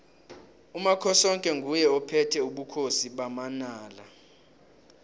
umakhosoke nguye ophethe ubukhosi bamanala